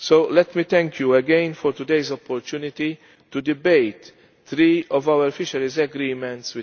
Let me thank you again for today's opportunity to debate three of our fisheries agreements.